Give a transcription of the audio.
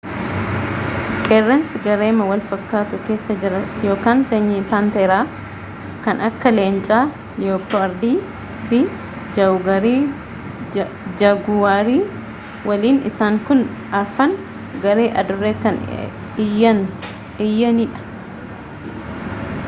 qeerransii gareema walfakkaatu keessa jira sanyii paanteeraa kan akka leenca liiyopardii fi jaaguwarii waliin. isaan kun afraan garee aduurre kan iyyaan dha